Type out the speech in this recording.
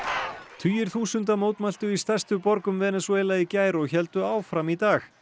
tugir þúsunda mótmæltu í stærstu borgum Venesúela í gær og héldu áfram í dag